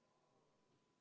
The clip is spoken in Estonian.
Henn Põlluaas, palun!